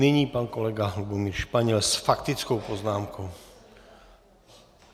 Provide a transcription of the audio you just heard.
Nyní pan kolega Lubomír Španěl s faktickou poznámkou.